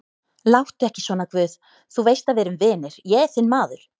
Láttu ekki svona guð, þú veist að við erum vinir, ég er þinn maður.